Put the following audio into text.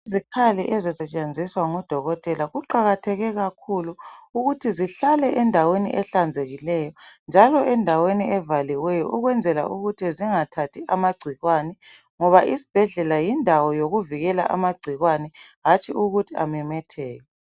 Izikhali ezisetshenziswa ngodokotela kuqakatheke kakhulu ukuthi zihlale endaweni ehlanzekileyo njalo endaweni evalekileyo ukwenzela ukuthi zingathathi amagcikwane, ngoba isibhedlela yindawo yokuvikela amagcikwane hatshi ukuthi amemetheke.